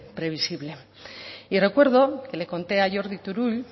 previsible y recuerdo que le conté a jordi turull